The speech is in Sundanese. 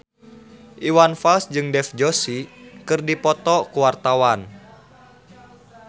Iwan Fals jeung Dev Joshi keur dipoto ku wartawan